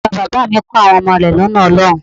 Bàba bàbá à mi kọ́ àwọn ọmọ rẹ̀ lọ́nà Ọlọ́run.